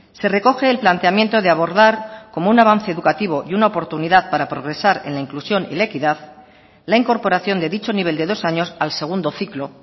se recoge el planteamiento de abordar como un avance educativo y una oportunidad para progresar en la inclusión y la equidad la incorporación de dicho nivel de dos años al segundo ciclo